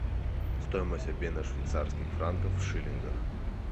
стоимость обмена швейцарских франков в шиллингах